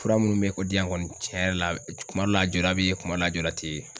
Fura munnu bɛ o di yan kɔni, tiɲɛ yɛrɛ la kuma dɔ la a jɔda bɛ ye kuma dɔ la jɔda tɛ ye.